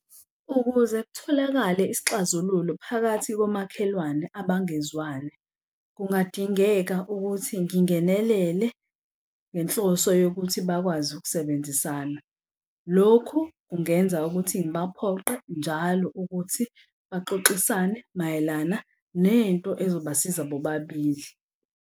Ukuze kutholakale isixazululo phakathi komakhelwane abangezwani, kungadingeka ukuthi ngingenelele ngenhloso yokuthi bakwazi ukusebenzisana. Lokhu kungenza ukuthi ngibaphoqe njalo ukuthi baxoxisane mayelana nento ezobasiza bobabili.